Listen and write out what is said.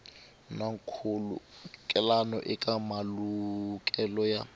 na nkhulukelano eka malukelo ya